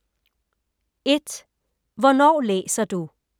1) Hvornår læser du?